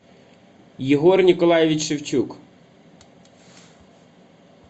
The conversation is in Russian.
егор николаевич шевчук